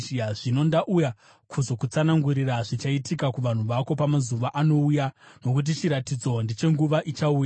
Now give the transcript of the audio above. Zvino ndauya kuzokutsanangurira zvichaitika kuvanhu vako pamazuva anouya, nokuti chiratidzo ndechenguva ichauya.”